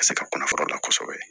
Ka se ka kunnafoni la kosɛbɛ